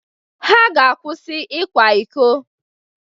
Ha ga-akwụsị ikwa iko.